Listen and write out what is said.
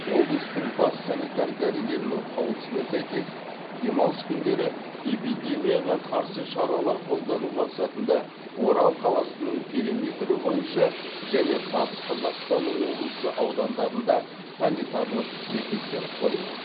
облыстың бас санитар дәрігерінің қаулысына сәйкес демалыс күндері эпидемияға қарсы шаралар қолдану мақсатында орал қаласының периметрі бойынша және батыс қазақстан облысы аудандарында санитарлық бекеттер қойылады